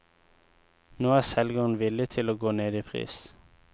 Nå er selgeren villig til å gå ned i pris.